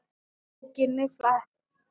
Bókinni flett.